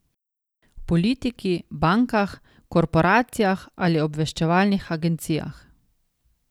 V politiki, bankah, korporacijah ali obveščevalnih agencijah.